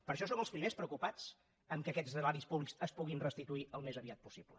per això som els primers preocupats pel fet que aquests eraris públics es puguin restituir al més aviat possible